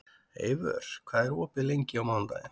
Eivör, hvað er opið lengi á mánudaginn?